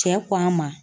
Cɛ ko a ma